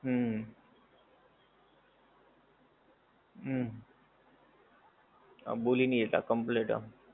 હું. હું. હા ભૂલી નહિ જતાં, complete આપે.